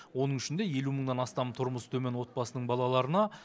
оның ішінде елу мыңнан астам тұрмысы төмен отбасының балаларына